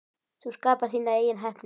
Þú skapar þína eigin heppni.